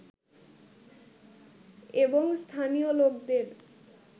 এবং স্থানীয় লোকদের